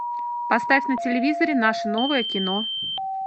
поставь на телевизоре наше новое кино